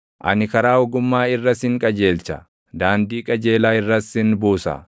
Ani karaa ogummaa irra sin qajeelcha; daandii qajeelaa irras sin buusa.